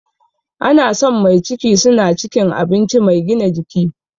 Ana son mai ciki suna cikin abinci mai gina jiki